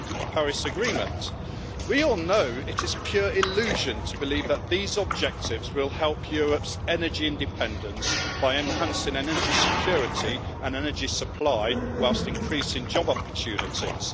Paris Agreement. We all know it is a pure illusion to believe that these objectives will help Europe's energy independence by enhancing energy security and energy supply whilst increasing job opportunities.